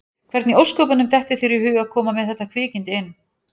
Hvernig í ósköpunum dettur þér í hug að koma með þetta kvikindi inn?